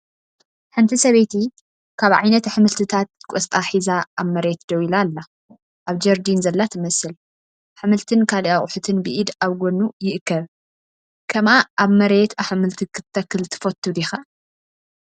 ሓንቲ ሰበይቲ ካብ ዓይነት ኣሕምልቲታት ቆስጣ ሒዛ ኣብ መሬት ደው ኢላ ኣላ። ኣብ ጀርዲን ዘላ ትመስል፡ ኣሕምልትን ካልእ ኣቑሑትን ብኢድ ኣብ ጎድኑ ይእከብ። ከምኣ ኣብ መሬት ኣሕምልቲ ክትተክል ትፈቱ ዲኻ?